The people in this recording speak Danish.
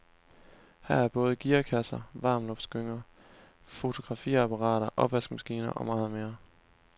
Her er både gearkasser, varmluftsgynger, fotografiapparater, opvaskemaskiner og meget mere.